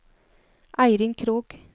Eirin Krogh